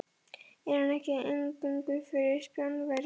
Er hann ekki eingöngu fyrir Spánverja.